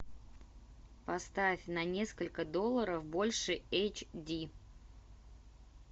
поставь на несколько долларов больше эйч ди